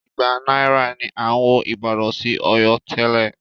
Igba náírà ni à ń wọ ìbàdàn sí Ọ̀yọ́ tẹ́lẹ̀.